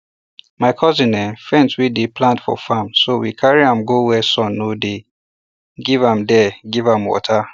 my cousin um faint when dey plant um for farm so wecarry am go where sun no dey giveam dey giveam water